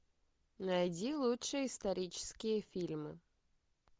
найди лучшие исторические фильмы